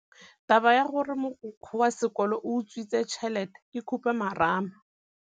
Taba ya gore mogokgo wa sekolo o utswitse tšhelete ke khupamarama.